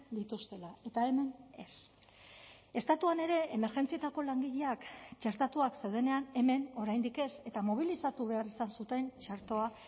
dituztela eta hemen ez estatuan ere emergentzietako langileak txertatuak zeudenean hemen oraindik ez eta mobilizatu behar izan zuten txertoa